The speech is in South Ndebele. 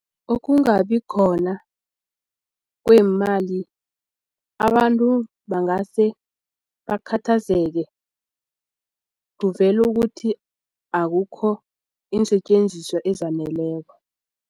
Ukungabi khona kweemali abantu bangase bakhathazeke kuvele ukuthi akukho iinsetjenziswa ezaneleko.